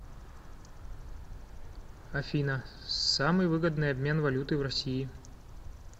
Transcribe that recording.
афина самый выгодный обмен валюты в россии